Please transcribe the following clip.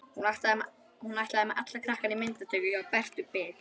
Hún ætlaði með alla krakkana í myndatöku hjá Bertu bit.